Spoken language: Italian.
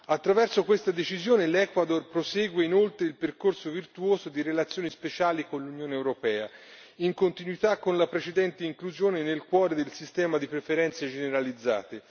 Attraverso questa decisione l'Ecuador prosegue inoltre il percorso virtuoso di relazioni speciali con l'Unione europea, in continuità con la precedente inclusione nel cuore del sistema di preferenze generalizzate.